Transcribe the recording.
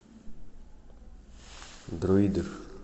дроидер